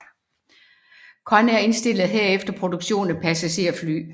Convair indstillede herefter produktionen af passagerfly